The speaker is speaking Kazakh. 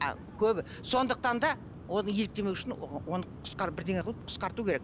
а көбі сондықтан да оны еліктемеу үшін оны бірдеңе қылып қысқарту керек